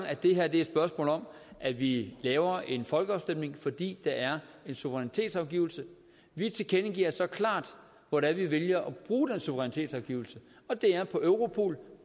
at det her er et spørgsmål om at vi laver en folkeafstemning fordi der er en suverænitetsafgivelse vi tilkendegiver så klart hvor det er vi vælger at bruge den suverænitetsafgivelse og det er på europol